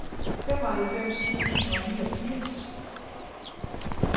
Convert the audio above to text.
femoghalvfems tusind og niogfirs